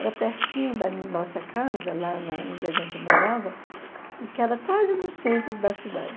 Era pertinho da nossa casa, lá na onde a gente morava, e que era quase no centro da cidade.